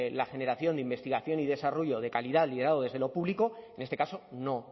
la generación de investigación y desarrollo de calidad liderado desde lo público en este caso no